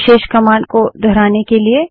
विशेष command को दोहराने के लिए